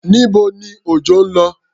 Níbo ni Òjọ́ lọ?